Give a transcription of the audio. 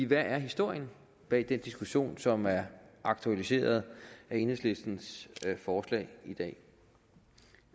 hvad er historien bag den diskussion som er aktualiseret af enhedslistens forslag i dag